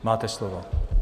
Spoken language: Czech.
Máte slovo.